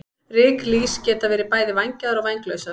Ryklýs geta verið bæði vængjaðar og vænglausar.